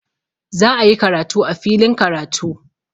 Za'ayi karatu a filin karatu.